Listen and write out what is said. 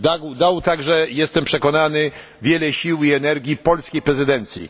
Dał także jestem przekonany wiele sił i energii polskiej prezydencji.